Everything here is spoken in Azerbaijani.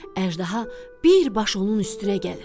Əjdaha bir baş onun üstünə gəlir.